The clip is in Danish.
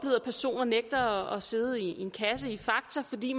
at personer nægter at sidde i en kasse i fakta fordi